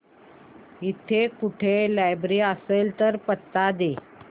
इकडे कुठे लायब्रेरी असेल तर पत्ता दे